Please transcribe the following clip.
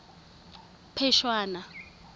phešwana